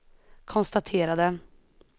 konstaterade